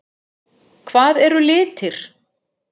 Hvað eru litir?